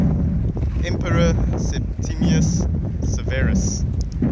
emperor septimius severus